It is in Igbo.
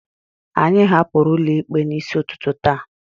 anyị hapụrụ ụlọ ikpe n'isi ụtụtụ taa